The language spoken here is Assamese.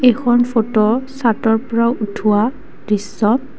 এইখন ফটো চাতৰ পৰা উঠোৱা দৃশ্য।